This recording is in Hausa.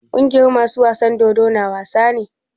Kungiyar masu wasan dodo na wasa ne?